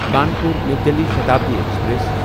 Kanpur New Delhi Shatabdi express